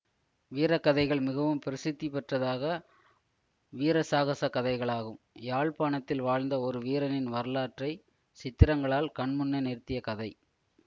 வீரக்கதைகள் மிகவும் பிரசித்திப்பெற்றதாக வீரசாகசக் கதைகளாகும் யாழ்ப்பாணத்தில் வாழ்ந்த ஒரு வீரனின் வரலாற்றை சித்திரங்களால் கண்முன்னே நிறுத்தியக் கதை